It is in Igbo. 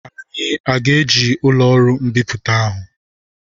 Anyị ga-eji ụlọ ọrụ mbipụta ahụ?